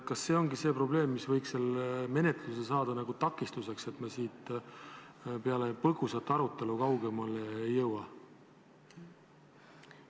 Kas see ongi see probleem, mis võiks selles menetluses saada nagu takistuseks, et me põgusast arutelust kaugemale ei jõua?